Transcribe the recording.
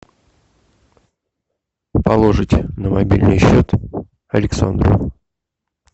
положить на мобильный счет александру